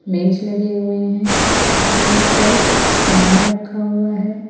मेज लगे हुएं हैं मेज पर सामान रखा हुआ हैं।